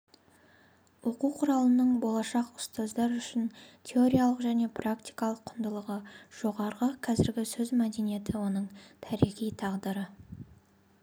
оқу құралының болашақ ұстаздар үшін теориялық және практикалық құндылығы жоғары қазіргі сөз мәдениеті оның тарихи тағдыры